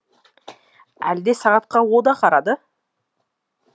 әлде сағатқа о да қарады